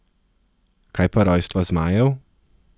Kaj pa rojstva zmajev?